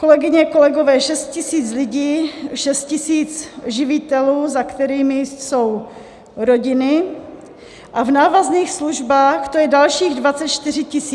Kolegyně, kolegové, 6 000 lidí, 6 000 živitelů, za kterými jsou rodiny, a v návazných službách to je dalších 24 000, takže celkem 30 000 lidí.